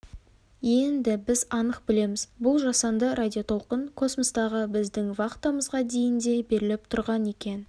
енді біз анық білеміз бұл жасанды радиотолқын космостағы біздің вахтамызға дейін де беріліп тұрған екен